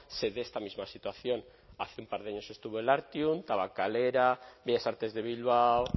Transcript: se dé esta misma situación hace un par de años estuvo el artium tabakalera bellas artes de bilbao